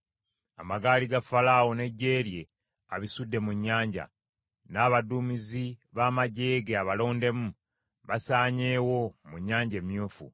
Amagaali ga Falaawo n’eggye lye abisudde mu nnyanja; n’abaduumizi b’amaggye ge abalondemu basaanyeewo mu Nnyanja Emyufu.